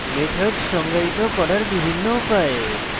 methods সংজ্ঞায়িত করার বিভিন্ন উপায়